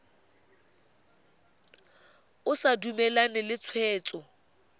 o sa dumalane le tshwetso